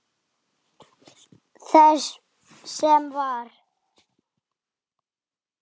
Já, en hvers dóttir ertu.?